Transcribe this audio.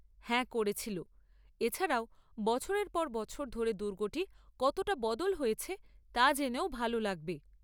হ্যাঁ, করেছিল। এছাড়াও, বছরের পর বছর ধরে দুর্গটি কতটা বদল হয়েছে তা জেনেও ভাল লাগবে।